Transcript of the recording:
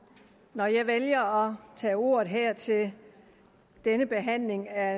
når jeg vælger at tage ordet her til denne behandling af